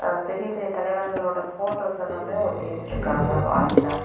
பெரிய பெரிய தலைவர்களோட போட்டோஸ் எல்லாமே ஒட்டி வச்சுருக்காங்க வாள்ல .